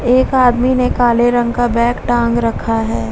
एक आदमी ने काले रंग का बैग टांग रखा है।